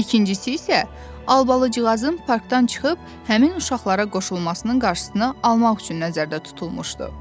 İkincisi isə Albalıcığazın parkdan çıxıb həmin uşaqlara qoşulmasının qarşısını almaq üçün nəzərdə tutulmuşdu.